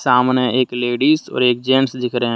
सामने एक लेडीस और एक जेंट्स दिख रहा है।